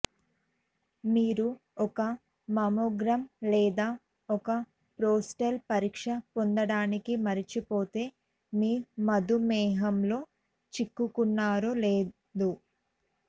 మీరు ఒక మమ్మోగ్రామ్ లేదా ఒక ప్రోస్టేట్ పరీక్ష పొందడానికి మర్చిపోతే మీ మధుమేహం లో చిక్కుకున్నారో లేదు